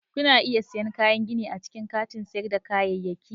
Kuna iya siyan kayan gini a cikin kantin sayar da kayayyaki.